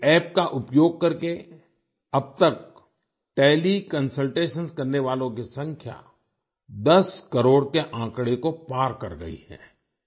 इस App का उपयोग करके अब तक टेलीकंसल्टेशन करने वालों की संख्या 10 करोड़ के आंकड़े को पार कर गई है